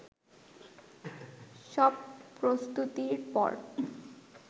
সব প্রস্তুতির পর